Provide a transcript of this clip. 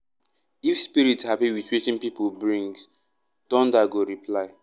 if spirit happy with wetin people bring thunder go reply. reply.